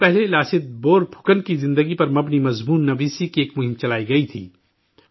کچھ دن پہلے لاست بورپھوکن کی زندگی پر مبنی مضمون نگاری کی ایک مہم چلائی گئی تھی